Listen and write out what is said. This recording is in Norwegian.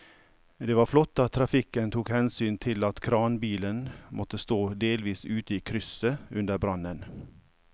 Det var flott at trafikken tok hensyn til at kranbilen måtte stå delvis ute i krysset under brannen.